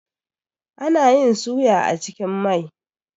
Ana yin suya a cikin mai.